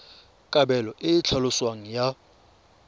kabelo e e tlhaloswang ya